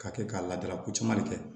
K'a kɛ ka ladala ko caman de kɛ